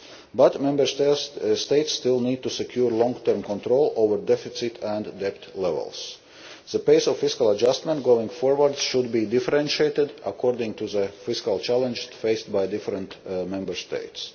But Member States still need to secure long term control over deficit and debt levels. The pace of fiscal adjustment going forward should be differentiated according to the fiscal challenge faced by different Member States.